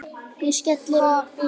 Hún skellir upp úr.